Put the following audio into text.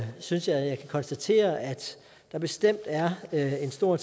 synes jeg at jeg kan konstatere at der bestemt er er en stor